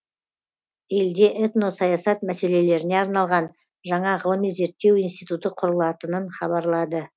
елде этносаясат мәселелеріне арналған жаңа ғылыми зерттеу институты құрылатынын хабарлады